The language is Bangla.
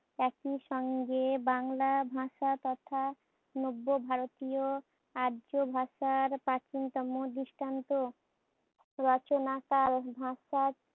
একইসঙ্গে ভাষা তথা নব্য ভারতীয় আর্য ভাষার প্রাচীনতম দৃষ্টান্ত। রচনাকাল ভাষার